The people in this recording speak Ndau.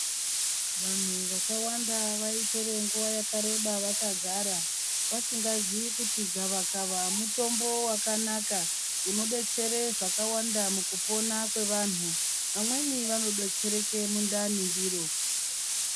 Vantu vakawanda vaitore nguwa yakareba vakagara vasingazii kuti gavakava mutombo wakanaka unodetsere zvakawanda mukupona kwevantu. Vamweni vanodetsereke mundani ndiro.